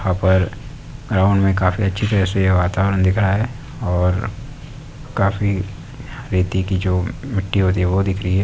वहां पर ग्राउंड में काफी अच्छी तरह से वातावरण दिख रहा है और काफी रेती की जो मिट्टी होती है| वो दिख रही है|